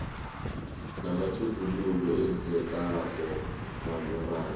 namatjhuguluko enzekako malungana